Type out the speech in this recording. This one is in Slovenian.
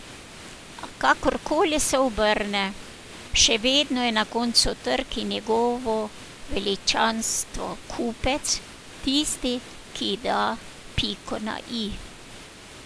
A kakor koli se obrne, še vedno je na koncu trg in njegovo veličanstvo kupec tisti, ki da piko na i.